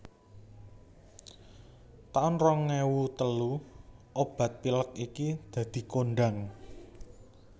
taun rong ewu telu obat pilek iki dadi kondhang